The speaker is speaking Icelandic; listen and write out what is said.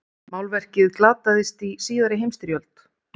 málverkið glataðist í síðari heimsstyrjöld